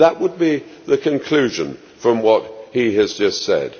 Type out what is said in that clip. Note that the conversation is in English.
That would be the conclusion from what he has just said.